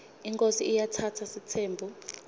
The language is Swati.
inkhosi iatsatsa sitsembu